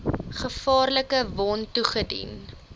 gevaarlike wond toegedien